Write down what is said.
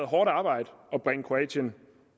hårdt arbejde at bringe kroatien